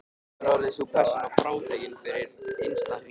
Nú orðið er sú persóna frátekin fyrir innsta hring.